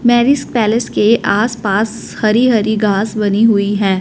Marriage palace के आस पास हरी हरी घास बनी हुई है।